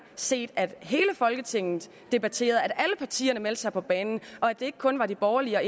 set at hele folketinget debatterede at alle partierne meldte sig på banen og at det ikke kun var de borgerlige og